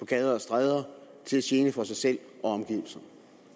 gader og stræder til gene for sig selv og omgivelserne